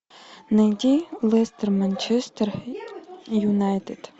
найди лестер манчестер юнайтед